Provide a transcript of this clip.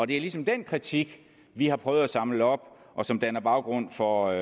det er ligesom den kritik vi har prøvet at samle op og som danner baggrund for